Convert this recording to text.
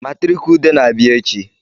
Matriki Ude na-abịa echi